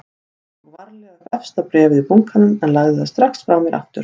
Ég tók varlega upp efsta bréfið í bunkanum en lagði það strax frá mér aftur.